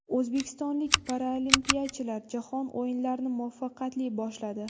O‘zbekistonlik paralimpiyachilar Jahon o‘yinlarini muvaffaqiyatli boshladi.